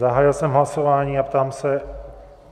Zahájil jsem hlasování a ptám se...